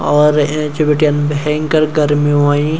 और ऐंच भिटिन भयंकर गर्मी हुईं।